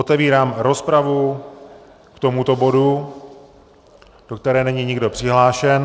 Otevírám rozpravu k tomuto bodu, do které není nikdo přihlášen.